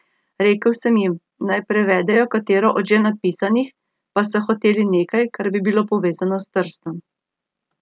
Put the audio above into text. Rekel sem jim, naj prevedejo katero od že napisanih, pa so hoteli nekaj, kar bi bilo povezano s Trstom.